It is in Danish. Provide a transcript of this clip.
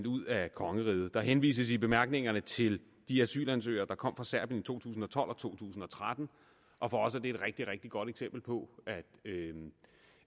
ud af kongeriget der henvises i bemærkningerne til de asylansøgere der kom fra serbien i to tusind og tolv og to tusind og tretten og for os er det et rigtig rigtig godt eksempel på at vi